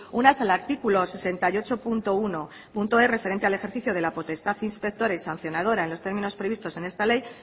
una es el artículo sesenta y ocho punto unoe referente al ejercicio de la potestad inspectora y sancionadora en los términos previstos en esta ley